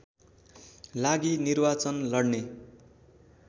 लागि निर्वाचन लड्ने